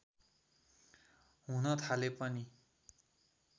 हुन थाले पनि